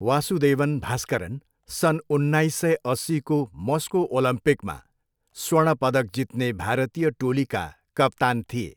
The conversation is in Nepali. वासुदेवन भास्करन सन् उन्नाइस सय अस्सीको मस्को ओलम्पिकमा स्वर्ण पदक जित्ने भारतीय टोलीका कप्तान थिए।